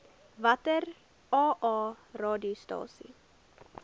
watter aa radiostasies